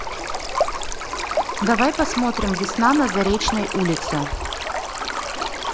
давай посмотрим весна на заречной улице